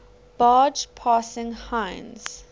barge passing heinz